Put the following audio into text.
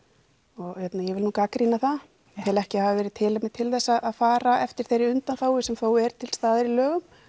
og ég vil nú gagnrýna það ég tel ekki að það hafi verið tilefni til þess að fara eftir þeirri undanþágu sem þó er til staðar í lögum